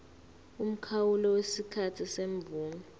umkhawulo wesikhathi semvume